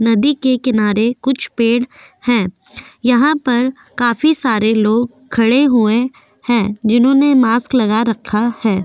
नदी के किनारे कुछ पेड़ हैं यहां पर काफी सारे लोग खड़े हुए हैं जिन्होंने मास्क लगा रखा है।